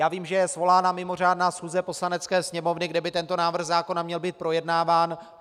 Já vím, že je svolána mimořádná schůze Poslanecké sněmovny, kde by tento návrh zákona měl být projednáván.